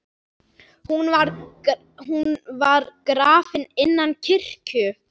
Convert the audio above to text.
Hún var grafin innan kirkju.